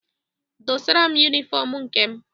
Dosara m yunịfọm nke m!